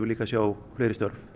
líka að sjá fleiri störf